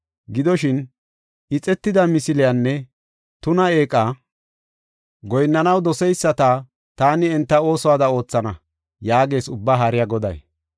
Gidoshin, ixetida misiliyanne tuna eeqa goyinnanaw doseyisata taani enta oosuwada oothana” yaagees Ubbaa Haariya Goday.